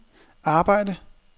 arbejde